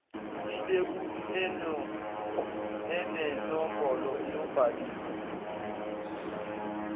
ilebuli enenombolo yobhaliso